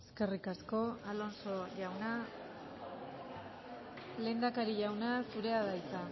eskerrik asko alonso jauna lehendakari jauna zurea da hitza